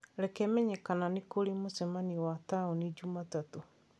reke menye kana nĩ kũrĩ mũcemanio wa taũni Jumatatũ